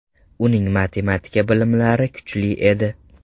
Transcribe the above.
Uning matematik bilimlari kuchli edi.